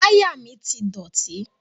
Táyà mi ti dọ̀tí.